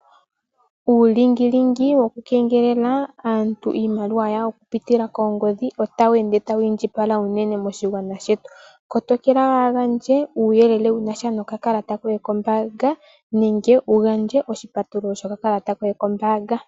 Uulingilingi woku keengelela aantu iimaliwa yawo okupitila koongodhi otashi ende tashi indjipala unene moshigwana shetu. Kotoka waaha gandje uuyelele wunasha nokakakata koye kombaanga nenge wuga ndje oshipatululo shinasha nokakalata koye kombaanga.